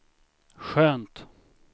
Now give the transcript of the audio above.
skönt